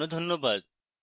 অংশগ্রহনের জন্য ধন্যবাদ